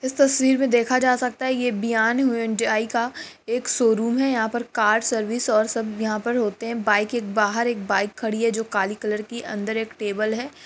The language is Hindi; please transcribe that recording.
इस तस्वीर में देखा जा सकता है ये ब्यान हुंडाई का एक शोरूम है यहाँ पर कार सर्विस और सब यहाँ पर होते हैं बाइक के बाहर एक बाइक खड़ी है जो काली कलर की अंदर एक टेबल है।